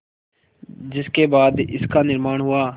जिसके बाद इसका निर्माण हुआ